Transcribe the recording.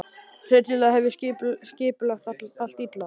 Hryllilega hef ég skipulagt allt illa.